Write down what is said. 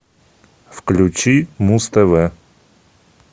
включи муз тв